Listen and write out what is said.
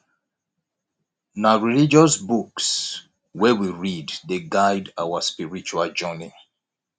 na religious books wey we read dey guide our spiritual journey